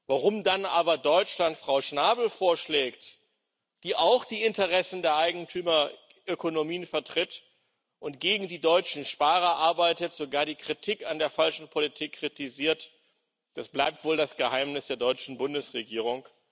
Warum dann aber Deutschland Frau Schnabel vorschlägt, die auch die Interessen der Eigentümerökonomien vertritt und gegen die deutschen Sparer arbeitet, sogar die Kritik an der falschen Politik kritisiert, das bleibt wohl das Geheimnis der deutschen Bundesregierung.